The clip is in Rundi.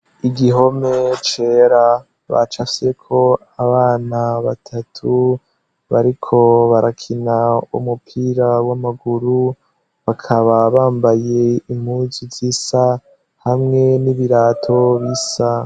Igihome cera bacafyeko abana batatu bariko barakina umupira w'amaguru, bakaba bambaye impuzu zisa hamwe n'ibirato bisa.